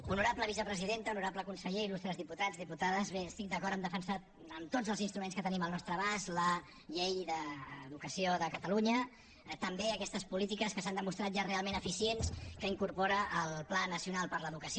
honorable vicepresidenta honorable conseller il·lustres diputats diputades bé estic d’acord a defensar amb tots els instruments que tenim al nostre abast la llei d’educació de catalunya també aquestes polítiques que s’han demostrat ja realment eficients que incorpora el pla nacional per l’educació